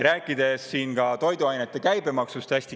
Räägin hästi kiiresti ka toiduainete käibemaksust.